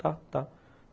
Tá, tá.